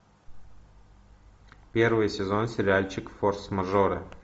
первый сезон сериальчик форс мажоры